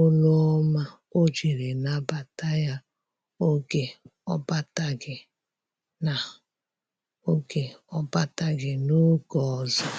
olu ọma ojiri nabata ya oge ọ bataghi na-oge bataghi na-oge ọzọ